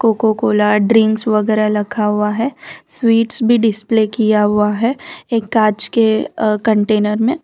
Coca Cola drinks वगैरा रखा हुआ है स्वीट्स भी डिस्प्ले किया हुआ है एक कांच के कंटेनर में।